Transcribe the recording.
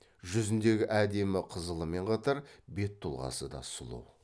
жүзіндегі әдемі қызылымен қатар бет тұлғасы да сұлу